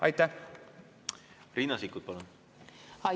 Riina Sikkut, palun!